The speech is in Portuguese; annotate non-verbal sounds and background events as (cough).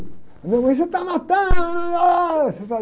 Minha mãe, você está matando! (unintelligible)